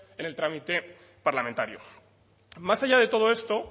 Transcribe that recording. en el trámite parlamentario más allá de todo esto